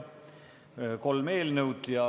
Kolm eelnõu.